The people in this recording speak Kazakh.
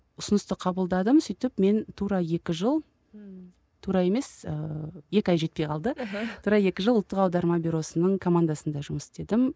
ұсынысты қабылдадым сөйтіп мен тура екі жыл тура емес ыыы екі ай жетпей қалды тура екі жыл ұлттық аударма бюросының командасында жұмыс істедім